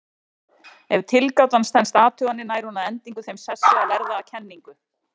Ef tilgátan stenst athuganir nær hún að endingu þeim sessi að verða að kenningu.